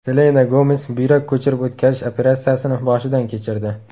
Selena Gomes buyrak ko‘chirib o‘tkazish operatsiyasini boshidan kechirdi.